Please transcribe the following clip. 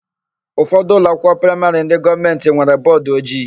Ụfọdụ ụlọakwụkwọ praịmarị ndị gọọmentị nwere bọọdụojii.